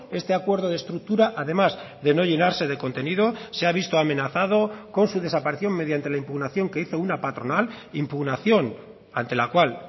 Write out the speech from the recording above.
este acuerdo de estructura además de no llenarse de contenido se ha visto amenazado con su desaparición mediante la impugnación que hizo una patronal impugnación ante la cual